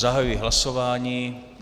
Zahajuji hlasování.